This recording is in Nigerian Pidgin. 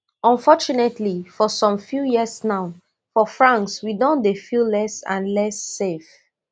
unfortunately for some few years now for france we don dey feel less and less safe